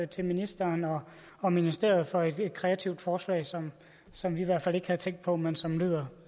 til ministeren og og ministeriet for et kreativt forslag som som vi i hvert fald ikke havde tænkt på men som lyder